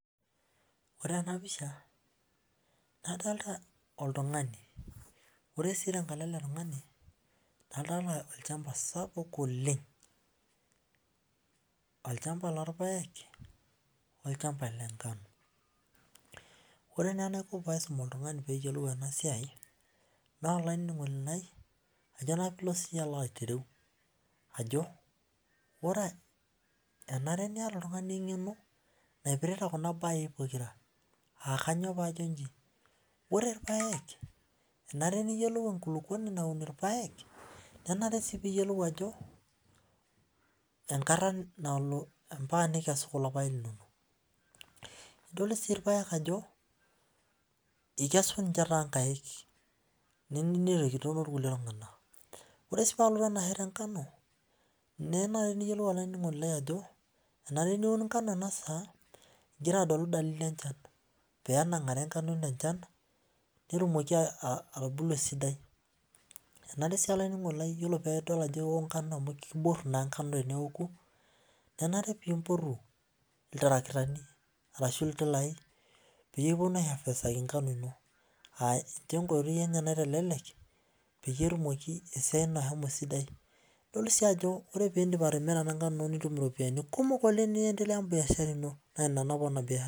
Ore enapisha adolta oltungani ore si tenkalo eletungani adolta olchamba sapuk oleng olchamba lorpaek olchamba lenkano or na enaiko paisum oltungani peyiolou enasiai na olaininingoni lai ajo na sinyeyie pilo ayiolou enare niata oltungani engeno naipirta kuna bai pokira ore irpaek enare niyolou enkulukuoni naun irpaek nenare piyolou ajo enkata nalo ambaka pikes kulo paek linonok nadol irpaek ajo ikes tonkaik ore si palotu enaalo enkano enare piyiolou olaininingoni lai ajo enare piun nkano enasaa igira adolu enchan penangare nkano ino enchan amu kiboru teneoku enare pimpotu oltarakita ashu intilai peeponu aihavestaki nkano ino ninye enkoitoi naitelelek pelo enkoitoi esidai idol si ajo ore pindip atimira nkano nitum iropiyani kumok niendelea biashara ino